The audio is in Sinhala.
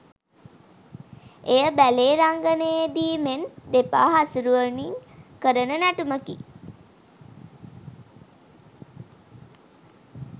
එය බැලේ රංගනයේදීමෙන් දෙපා හසුරුවමින් කරන නැටුමකි